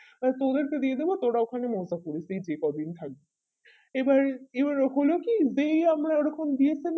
আর তোদের কে দিয়ে দেব তোরা ওখানে মজা করিস থাকবি এবার এই রকমে কি যেই আমরা ওই রকম দিয়েছি